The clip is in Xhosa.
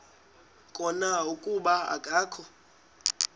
khona kuba akakho